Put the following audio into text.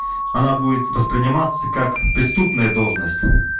она будет восприниматься как преступная должность